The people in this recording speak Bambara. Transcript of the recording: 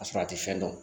A sɔrɔ a tɛ fɛn dɔn